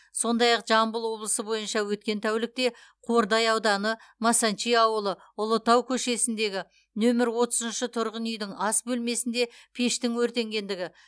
сондай ақ жамбыл облысы бойынша өткен тәулікте қордай ауданы масанчи ауылы ұлытау көшесіндегі нөмір отызыншы тұрғынүйдің ас бөлмесінде пештің өртенгендігі